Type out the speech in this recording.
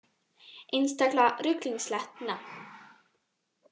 Einstaklega ruglingslegt nafn